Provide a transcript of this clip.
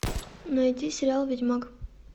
найди сериал ведьмак